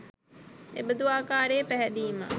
එබඳු ආකාරයේ පැහැදීමක්